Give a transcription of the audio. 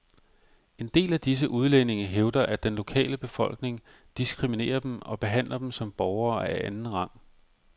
En del af disse udlændinge hævder, at den lokale befolkning diskriminerer dem og behandler dem som borgere af anden rang.